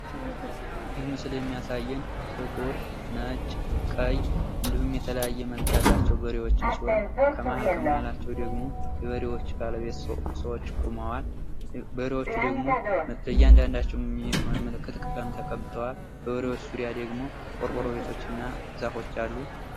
ይህ ምስል የሚያሳየን ጥቁር ፣ነጭ፣ ቀይ እንዲሁም የተለያየ መልክ ያላቸው በሬወችን ሲሆን ከመሀል ከማህላቸው ደግሞ የበሬዎች ባለቤት ሰወች ቆመዋል። በሬዎቸ ደግሞ ለእያንዳንዳቸው የሚሆን ምልክት ቀለም ተቀብተዋል። በበሬዎቹ ዙሪያ ደግሞ ቆርቆሮ ቤቶችና ዛፎች አሉ።